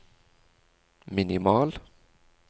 minimal